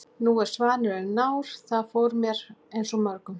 Nú er svanurinn nár. það fór fyrir mér eins og mörgum.